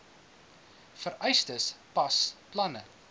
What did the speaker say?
vereistes pas planne